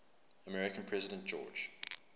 american president george